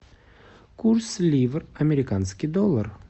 курс ливр американский доллар